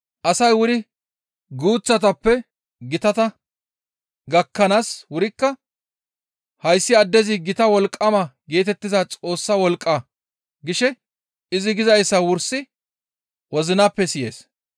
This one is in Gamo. Asay wuri guuththatappe gitata gakkanaas wurikka, «Hayssi addezi gita wolqqama geetettiza Xoossa wolqqa» gishe izi gizayssa wursi wozinappe siyees.